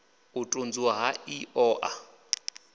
u tunzuwa ha iṱo ḽa